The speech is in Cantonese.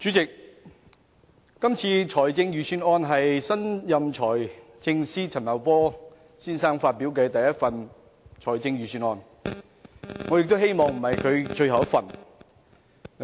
主席，這份財政預算案是新任財政司司長陳茂波先生發表的第一份預算案，我希望這不是他最後一份預算案。